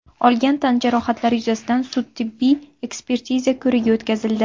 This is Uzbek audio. olgan tan jarohatlari yuzasidan sud tibbiy ekspertiza ko‘rigi o‘tkazildi.